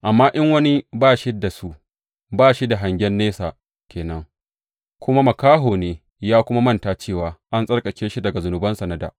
Amma in wani ba shi da su, ba shi da hangen nesa ke nan kuma makaho ne, ya kuma manta cewa an tsarkake shi daga zunubansa na dā.